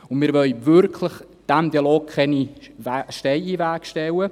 Wir wollen diesem Dialog wirklich keine Steine in den Weg legen.